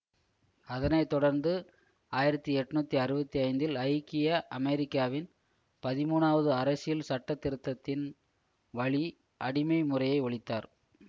அதனை தொடர்ந்து ஆயிரத்தி எண்ணூற்றி அறுபத்தி ஐந்தில் ஐக்கிய அமெரிக்காவின் பதிமூனாவது அரசியல் சட்ட திருத்தத்தின் வழி அடிமை முறையை ஒழித்தார்